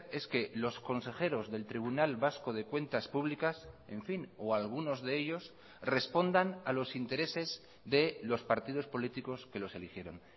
es que los consejeros del tribunal vasco de cuentas públicas en fin o algunos de ellos respondan a los intereses de los partidos políticos que los eligieron